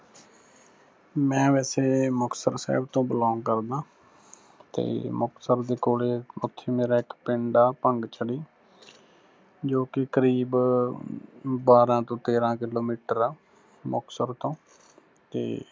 ਮੈਂ ਵੈਸੇ ਮੁਕਤਸਰ ਸਾਹਿਬ ਤੋਂ belong ਕਰਦਾਂ, ਤੇ ਮੁਕਤਸਰ ਦੇ ਕੋਲੇ ਉੱਥੇ ਮੇਰਾ ਇੱਕ ਪਿੰਡ ਆ ਭੰਗਝੜੀ, ਜੋ ਕੇ ਕਰੀਬ ਬਾਰ੍ਹਾਂ ਤੋਂ ਤੇਰ੍ਹਾਂ kilometer ਆ ਮੁਕਤਸਰ ਤੋਂ, ਤੇ